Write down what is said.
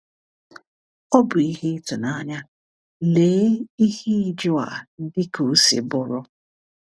Ọ bụ ihe ịtụnanya, lee ihe ịjụ a dị ka o si bụrụ.